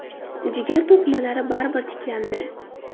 Jigar to‘qimalari baribir tiklandi.